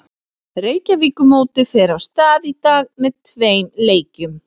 Reykjavíkurmótið fer af stað í dag með tveim leikjum.